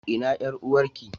Ina yar uwarki?